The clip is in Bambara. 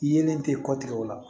Yelen tɛ kɔ tigɛ o la